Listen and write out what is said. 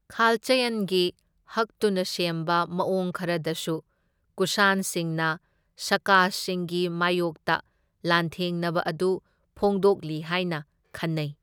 ꯈꯥꯜꯆꯌꯟꯒꯤ ꯍꯛꯇꯨꯅ ꯁꯦꯝꯕ ꯃꯑꯣꯡ ꯈꯔꯗꯁꯨ ꯀꯨꯁꯥꯟꯁꯤꯡꯅ ꯁꯥꯀꯥꯁꯤꯡꯒꯤ ꯃꯥꯌꯣꯛꯇ ꯂꯥꯟꯊꯦꯡꯅꯕ ꯑꯗꯨ ꯐꯣꯡꯗꯣꯛꯂꯤ ꯍꯥꯏꯅ ꯈꯟꯅꯩ꯫